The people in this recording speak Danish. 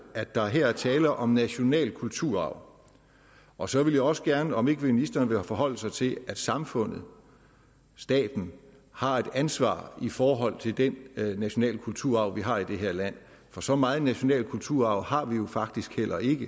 at der her er tale om national kulturarv og så vil jeg også gerne høre om ikke ministeren vil forholde sig til at samfundet staten har et ansvar i forhold til den nationale kulturarv vi har i det her land for så meget national kulturarv har vi jo faktisk heller ikke